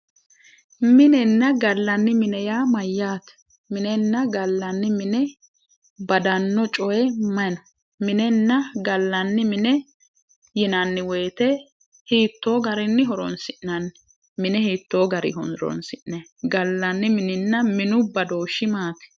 Minenna gallanni mine yaa mayyaate? minenna gallanni mine badanno coyi mayi no minenna gallanni mine yinanni woyiite hiittoo garinni horonsi'nanni? mine hiittoo garinni horonsi'nanni? gallanni mininna minu badooshshi maati?